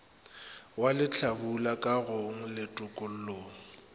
wa lehlabula kagong le tokollong